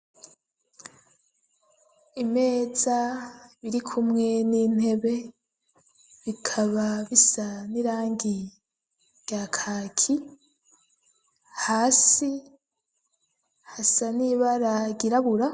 Imeza irikumwe n'intebe bikaba bisa n'irangi rya kaki hasi hasa n'ibara ryirabura